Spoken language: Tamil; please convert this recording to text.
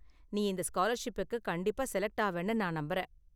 நீ இந்த ஸ்காலர்ஷிப்புக்கு கண்டிப்பா செலக்ட் ஆவனு நான் நம்பறேன்.